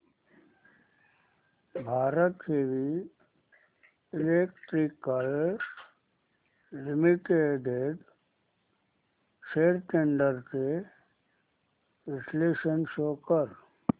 Bharat heavy electricals limited shares trends चे विश्लेषण show कर